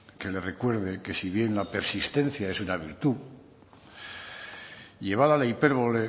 que le recuerde que si bien la persistencia es una virtud llevada a la hipérbole